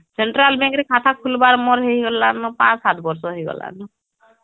central bank ରେ ଖାତା ଖୁଲବାର ହେଇଗଲା ନ ୫ ୭ ବର୍ଷ ହେଇଗଲା ନ